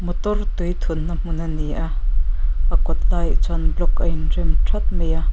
motor tui thunna hmun ani a a kawt lai ah chuan block ain rem thap mai a.